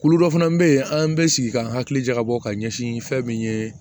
Kulu dɔ fana bɛ yen an bɛ sigi k'an hakili jagabɔ ka ɲɛsin fɛn min ye